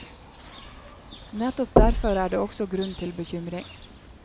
Nettopp derfor er det også grunn til bekymring.